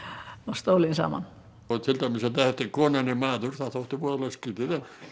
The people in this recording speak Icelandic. stólinn saman til dæmis konan er maður þótti voðalega skrýtið